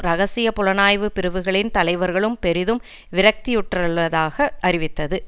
ரகசிய புலனாய்வு பிரிவுகளின் தலைவர்களும் பெரிதும் விரக்தியுற்றுள்ளதாக அறிவித்தது